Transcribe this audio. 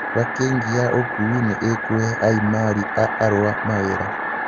Bakĩ'ngi ya ũkui nĩ ĩkũhe aimari a arũa mawĩra